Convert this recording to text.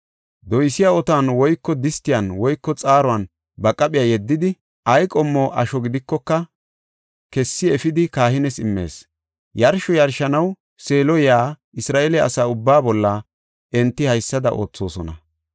Doysiya otuwan woyko distiyan woyko xaaruwan ba qaphiya yeddidi, ay qommo asho gidikoka kessi efidi kahiniyas immees. Yarsho yarshanaw Seelo yaa Isra7eele asa ubbaa bolla enti haysada oothosona.